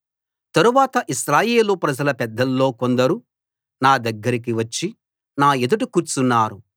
తరువాత ఇశ్రాయేలు ప్రజల పెద్దల్లో కొందరు నా దగ్గరకి వచ్చి నా ఎదుట కూర్చున్నారు